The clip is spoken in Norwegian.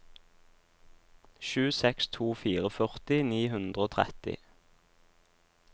sju seks to fire førti ni hundre og tretti